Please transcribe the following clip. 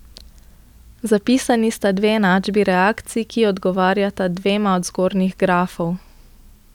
Zapisani sta dve enačbi reakcij, ki odgovarjata dvema od zgornjih grafov.